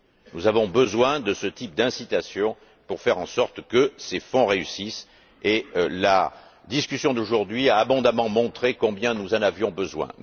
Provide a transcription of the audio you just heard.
Nous avons besoin de ce type d'incitations pour faire en sorte que ces fonds réussissent, et la discussion d'aujourd'hui a abondamment montré combien nous en avions besoin.